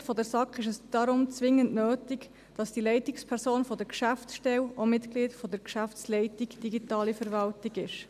Aus Sicht der SAK ist es deshalb zwingend notwendig, dass die Leitungsperson der Geschäftsstelle auch Mitglied der Geschäftsleitung Digitale Verwaltung ist.